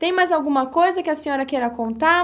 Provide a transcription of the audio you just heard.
Tem mais alguma coisa que a senhora queira contar?